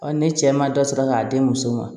ne cɛ ma dɔ sɔrɔ k'a di muso ma